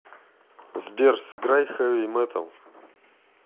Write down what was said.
сбер сыграй хэви металл